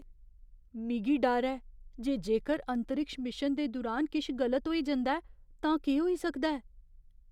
मिगी डर ऐ जे जेकर अंतरिक्ष मिशन दे दुरान किश गलत होई जंदा ऐ तां केह् होई सकदा ऐ।